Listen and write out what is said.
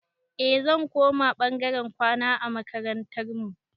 Eh zan koma ɓangaren kwana a makarantar mu